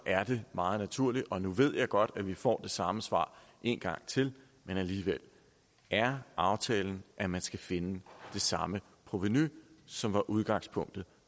er det meget naturligt at og nu ved jeg godt at vi får det samme svar en gang til men alligevel er aftalen at man skal finde det samme provenu som var udgangspunktet